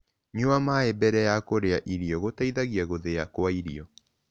Nyua mae mbere ya kũrĩa irio gũteĩthagĩa gũthĩa kwa irio